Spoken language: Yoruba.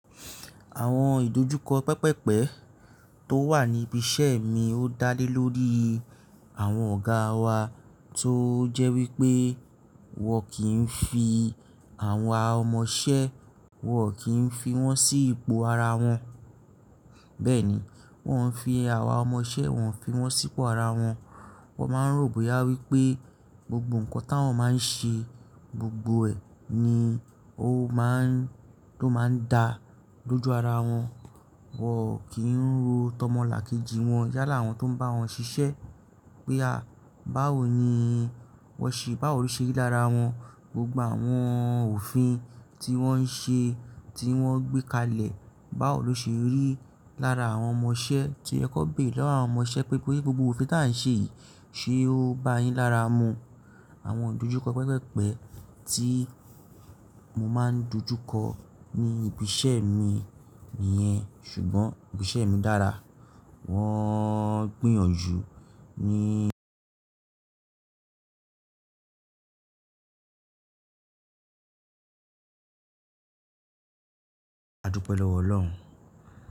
Àwọn ìdojúkọ pẹpẹpẹ tó wà ní ibi iṣẹ́ mi ó dá lé lórí àwọn ọ̀gáa wa tó jẹ́ wípé wọn kì ń fi àwọn ọmọṣẹ́, wọn kì ń fi wọ́n sí ipò ara wọn. Bẹ́ẹ̀ ni, wọn ń fi àwa ọmọṣẹ́, wọn ń fi wọ́n sí ipò ara wọn. Wọn máa ń ròbóyá wípé gbogbo ǹkan táwọn máa ń ṣe, gbogbo ẹ̀ ni ó máa ń, tó máa ń da lójú ara wọn. Wọn ò kí ń ro tọmọlàkejì wọn yálà àwọn tó ń bá wọn ṣiṣẹ́ pé a, báwo ni wọ́n ṣe, báwo ló ṣe rí lára wọn. Gbogbo àwọn òfin tí wọ́n ń ṣe, tí wọ́n gbé kalẹ̀, báwo ló ṣe rí lára àwọn ọmọṣẹ́ tí ẹ kó gbè lọ́wọ́ àwọn ọmọṣẹ́ pé, wípé gbogbo òfin tí à ń ṣe yìí ṣe ó bá yín lára mu? Àwọn ìdojúkọ pẹpẹpẹ tí mo máa ń dojúkọ ní ibi iṣẹ́ mi nìyẹn. Ṣùgbọ́n ibi iṣẹ́ mi dára. Wọ́n ń gbìyànjú ní adupe lowo olohun.